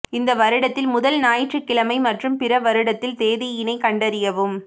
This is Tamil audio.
இந்த வருடத்தில் முதல் ஞாயிற்றுக்கிழமை மற்றும் பிற வருடத்தில் தேதியினைக் கண்டறியவும்